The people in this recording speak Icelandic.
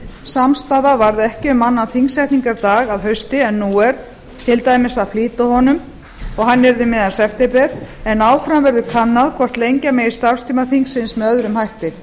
samstaða varð ekki um annan þingsetningardag að hausti en nú er til dæmis að flýta honum og hann yrði um miðjan september en áfram verður kannað hvort lengja megi starfstíma þingsins með öðrum hætti